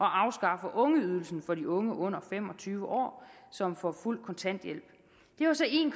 afskaffe ungeydelsen for de unge under fem og tyve år som får fuld kontanthjælp det var så en